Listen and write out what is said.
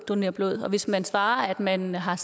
donere blod og hvis man svarer at man har